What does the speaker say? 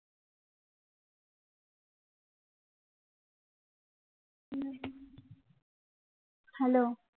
hello